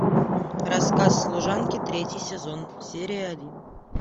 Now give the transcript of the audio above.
рассказ служанки третий сезон серия один